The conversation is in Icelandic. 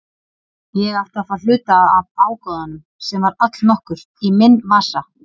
Ég átti að fá hluta af ágóðanum, sem var allnokkur, í minn vasa.